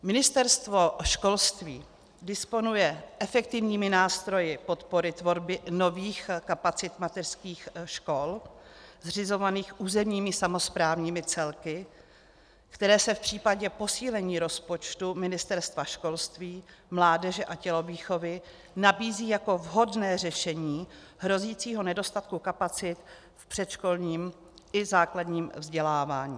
Ministerstvo školství disponuje efektivními nástroji podpory tvorby nových kapacit mateřských škol zřizovaných územními samosprávními celky, které se v případě posílení rozpočtu Ministerstva školství, mládeže a tělovýchovy nabízí jako vhodné řešení hrozícího nedostatku kapacit v předškolním i základním vzdělávání.